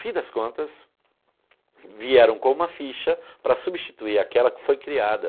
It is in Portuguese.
Fim das contas, vieram com uma ficha para substituir aquela que foi criada.